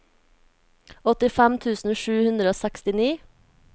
åttifem tusen sju hundre og sekstini